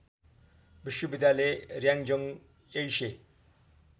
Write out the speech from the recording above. विश्वविद्यालय र्‍याङ्गजङ्ग येशे